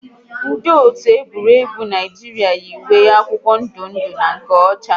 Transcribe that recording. Ndị otu egwuregwu Naijiria yi uwe akwụkwọ ndụ ndụ na nke ọcha